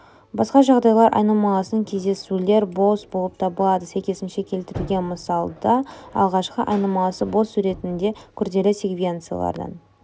басқа жағдайларда айнымалысының кездесулері бос болып табылады сәйкесінше келтірілген мысалда алғашқы айнымалысы бос суретінде күрделі секвенциялардың